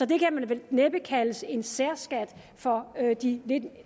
det kan vel næppe kaldes en særskat for de lidt